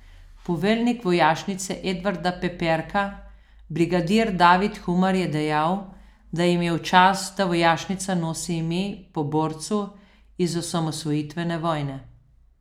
Poveljnik Vojašnice Edvarda Peperka brigadir David Humar je dejal, da jim je v čast, da vojašnica nosi ime po borcu iz osamosvojitvene vojne.